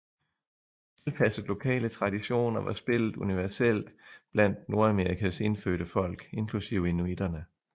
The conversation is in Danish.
Tilpasset lokale traditioner var spillet universelt blandt Nordamerikas indfødte folk inklusive inuitterne